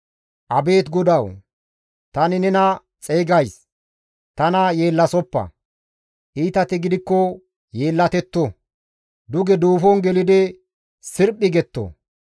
Abeet GODAWU! Tani nena xeygays; tana yeellasoppa; iitati gidikko yeellatetto; duge duufon gelidi sirphi getto.